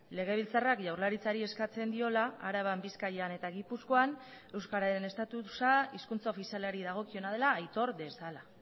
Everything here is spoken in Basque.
legebiltzarrak jaurlaritzari eskatzen diola araban bizkaian eta gipuzkoan euskararen estatusa hizkuntza ofizialari dagokiona dela aitor dezala